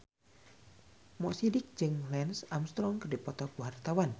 Mo Sidik jeung Lance Armstrong keur dipoto ku wartawan